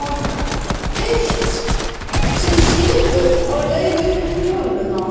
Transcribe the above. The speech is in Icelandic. heitt, sem sýður á leið upp holuna.